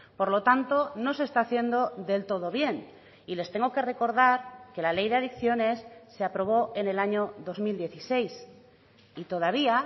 por lo tanto no se está haciendo del todo bien y les tengo que recordar que la ley de adicciones se aprobó en el año dos mil dieciséis y todavía